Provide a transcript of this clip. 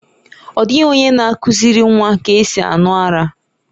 Ọ dịghị onye na-akụziri nwa ka esi aṅụ ara.